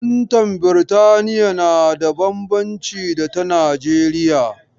Fantan Biritaliya na da bambanci da ta Nijeriya.